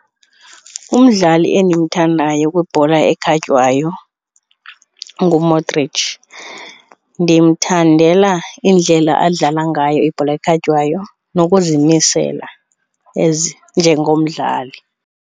Umdlali endimthandayo kwibhola ekhatywayo nguModric. Ndimthandela indlela adlala ngayo ibhola ekhatywayo nokuzimisela njengomdlali.